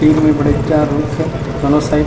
तीर में बड़ेज जान रुख हे दोनों साइड --